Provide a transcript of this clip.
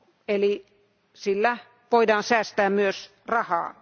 eli sillä voidaan säästää myös rahaa.